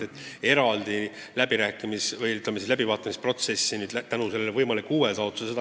Selles lepiti eelnõu läbivaatamise protsessis kokku.